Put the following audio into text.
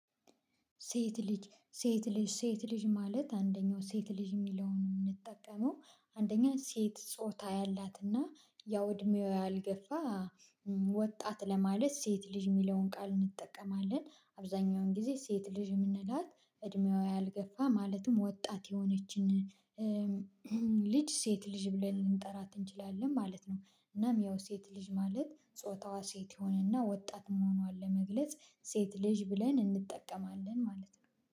ሴት ልጅ ሴት ልጅ ሴት ልጅ ማለት አንደኛው ሴት ልጅ የሚለውን የምንጠቀመው አንደኛ ሴት ጾታ ያላትና ያው እድሜዋ ያልገፋ ወጣት ለማለት ሴት ልጅ የሚለውን ቃል እንጠቀማለን አብዛኛውን ጊዜ ሴት ልጅ የምንላት እድሜዋ ያልገፋ ማለትም ወጣት የሆነችን ልጅ ሴት ልጅ ብለን ልንጠራ እንችላለን ማለት ነው። እናም ያው ሴት ልጅ ማለት ጾታዋ ሴት የሆነና ወጣት መሆኗን ለመግለጽ ሴት ልጅ ብለን እንጠቀማለን ማለት ነው